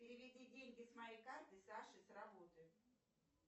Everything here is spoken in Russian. переведи деньги с моей карты саше с работы